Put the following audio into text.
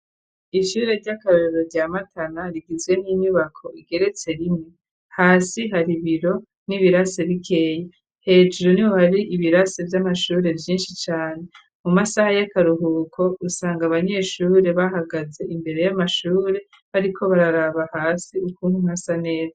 ishure ry'akarorero rya matana, rigizwe n'inyubako igeretse rimwe . Hasi hari biro n'ibirase bikeyi. Hejuru niho hari hari ibirase vy'amashure vyinshi cane . Mu masaha y'akaruhuko usanga abanyeshure bahagaze imbere y'amashure , bariko bararaba hasi ukuntu hasa neza.